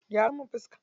Gyara min fika.